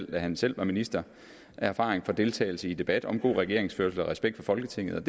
da han selv var minister erfaring med deltagelse i debatter om god regeringsførelse og respekt for folketinget